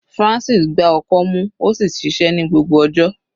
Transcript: Francis gbá ọkọ́ mú ó sì ṣiṣẹ́ ní gbogbo ọjọ́.